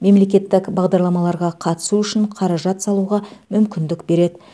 мемлекеттік бағдарламаларға қатысу үшін қаражат салуға мүмкіндік береді